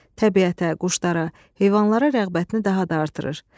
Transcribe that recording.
Təbiətə, quşlara, heyvanlara rəğbətini daha da artırır.